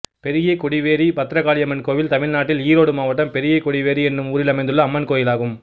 பெரிய கொடிவேரி பத்ரகாளியம்மன் கோயில் தமிழ்நாட்டில் ஈரோடு மாவட்டம் பெரிய கொடிவேரி என்னும் ஊரில் அமைந்துள்ள அம்மன் கோயிலாகும்